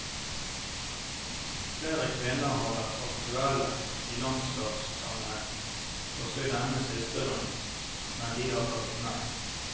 Flere kvinner har vært aktuelle i landslagssammenheng, også i denne siste runden, men de har takket nei.